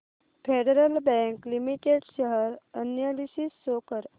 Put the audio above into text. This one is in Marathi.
federal bank limited share analysis show कर